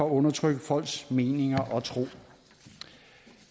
at undertrykke folks meninger og tro